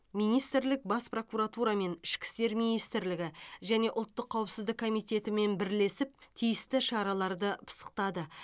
министрлік бас прокуратурамен ішкі істер министрлігі және ұлттық қауіпсіздік комититетімен бірлесіп тиісті шараларды пысықтады